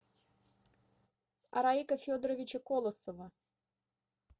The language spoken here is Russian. араика федоровича колосова